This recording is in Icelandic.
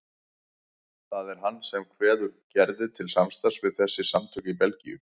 Það er hann sem kveður Gerði til samstarfs við þessi samtök í Belgíu.